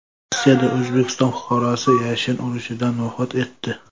Rossiyada O‘zbekiston fuqarosi yashin urishidan vafot etdi.